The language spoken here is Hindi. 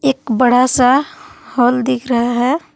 एक बड़ा सा हॉल दिख रहा है।